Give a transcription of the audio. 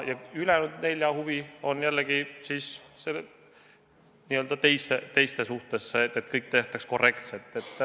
Ja ülejäänud nelja huvi on jällegi siis n-ö teiste suhtes see, et kõik tehtaks korrektselt.